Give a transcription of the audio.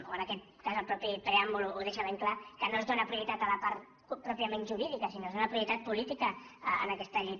o en aquest cas el mateix preàmbul ho deixa ben clar que no es dóna prioritat a la part pròpiament jurídica sinó que es dóna prioritat política en aquesta llei